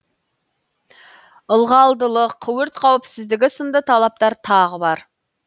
ылғалдылық өрт қауіпсіздігі сынды талаптар тағы бар